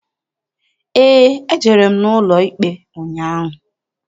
Eé, ejere m n'ụlọikpe ụnyaahụ.